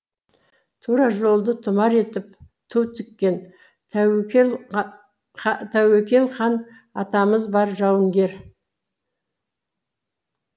тура жолды тұмар етіп ту тіккен тәуекел хан атамыз бар жауынгер